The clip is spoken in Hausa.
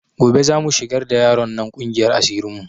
Gobe za mu shigar da yaron nan ƙungiyar asirin mu